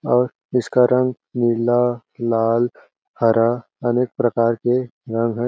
और इसका रंग नीला लाल हरा अनेक प्रकार के रंग है।